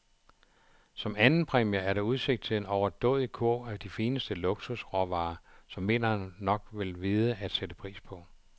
Som andenpræmier er der udsigt til en overdådig kurv af de fineste luksusråvarer, som vinderen nok vil vide at sætte pris på.